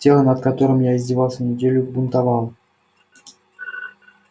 тело над которым я издевался неделю бунтовало